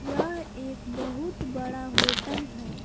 यह एक बहुत बड़ा होटल है।